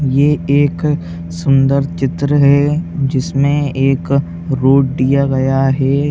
ये एक सुन्दर चित्र है जिसमें एक रोड दिया गया है।